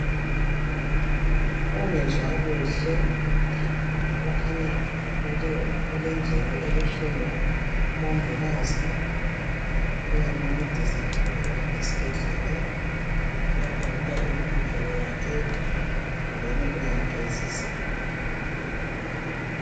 Ongezwa kuhle, ukhanya ulendlebe ebuhlungu. Umongikazi uyamncedisa laphana esibhedlela uyakhangela indlebe yakhe kumbeni uyamgezisa.